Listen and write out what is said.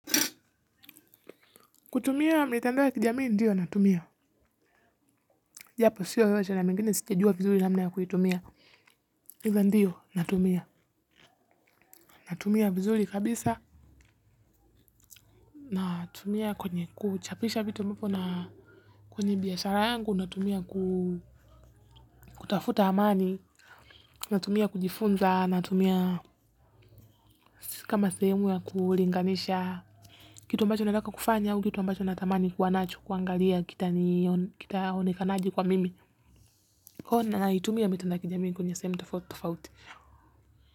Kutumia mitandao ya kijamii ndiyo natumia. Japo siyo yote na mengine sijejua vizuri namna ya kuitumia hivo ndiyo natumia natumia vizuri kabisa. Natumia kwenye kuchapisha vitu mpo na kwenye biashara yangu natumia kutafuta hamani. Natumia kujifunza natumia. Kama sehemu ya kulinganisha kitu ambacho nataka kufanya au kitu ambacho natamani kuwa nacho kuangalia kita onekanaje kwa mimi Kona haitumiia mitu na kijamii kunya semta foto faute.